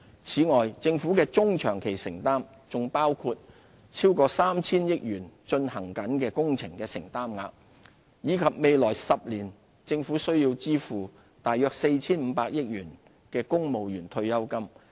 此外，政府的中、長期承擔，還包括超過 3,000 億元進行中工程的承擔額，以及未來10年政府須支付約 4,500 億元的公務員退休金。